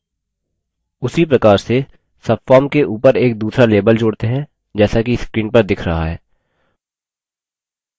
उसी प्रकार से subform के ऊपर एक दूसरा label जोड़ते हैं जैसा कि screen पर दिख रहा है